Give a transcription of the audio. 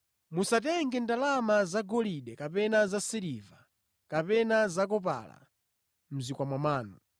“Musatenge ndalama zagolide kapena zasiliva kapena zakopala mʼzikwama mwanu;